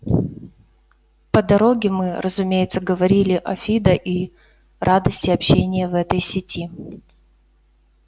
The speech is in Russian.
по дороге мы разумеется говорили о фидо и радости общения в этой сети